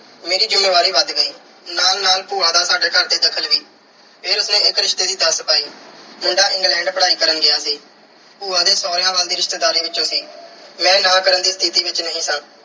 ਮੇਰੀ ਜ਼ਿੰਮੇਵਾਰੀ ਵੱਧ ਗਈ। ਨਾਲ-ਨਾਲ ਭੂਆ ਦਾ ਸਾਡੇ ਘਰ 'ਚ ਦਖ਼ਲ ਵੀ। ਫਿਰ ਉਸ ਨੇ ਇੱਕ ਰਿਸ਼ਤੇ ਦੀ ਦੱਸ ਪਾਈ। ਮੁੰਡਾ England ਪੜ੍ਹਾਈ ਕਰਨ ਗਿਆ ਸੀ। ਭੂਆ ਦੇ ਸਹੁਰਿਆਂ ਵੱਲ ਦੀ ਰਿਸ਼ਤੇਦਾਰੀ ਵਿੱਚੋਂ ਸੀ। ਮੈਂ ਨਾਂਹ ਕਰਨ ਦੀ ਸਥਿਤੀ ਵਿੱਚ ਨਹੀਂ ਸਾਂ।